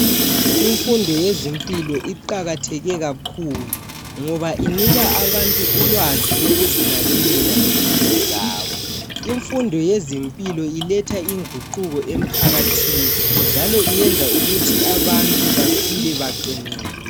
Imfundo yezempilo iqakatheke kakhulu ngoba inika abantu ulwazi lokuzinakekela lempilo zabo . Imfundo yezempilo iletha inguquko emphakathini, njalo iyenza ukuthi abantu baphile beqinile.